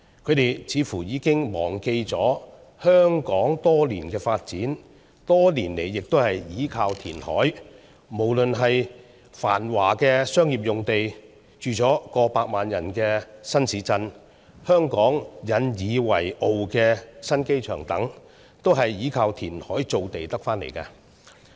他們似乎已經忘記了香港多年的發展，也是依靠填海。無論是繁華的商業用地、住上了過百萬人的新市鎮、香港引以為傲的新機場等，都是依靠填海造地得來的。